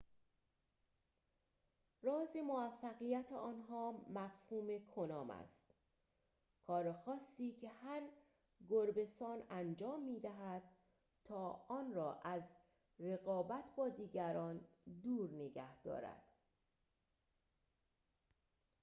راز موفقیت آنها مفهوم کنام است کار خاصی که هر گربه‌سان انجام می‌دهد تا آن را از رقابت با دیگران دور نگه دارد